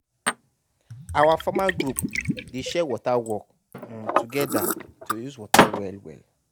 our farmer group dey share water work um together to use water well well.